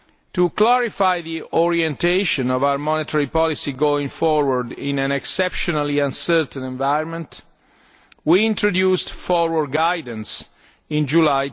To clarify the orientation of our monetary policy going forward in an exceptionally uncertain environment, we introduced forward guidance in July